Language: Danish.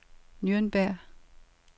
Nürnberg